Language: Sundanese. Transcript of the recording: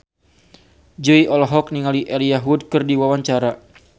Jui olohok ningali Elijah Wood keur diwawancara